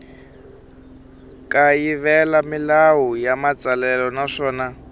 kayivela milawu ya matsalelo naswona